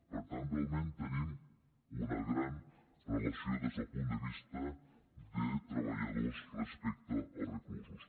per tant realment tenim una gran relació des del punt de vista de treballadors respecte als reclusos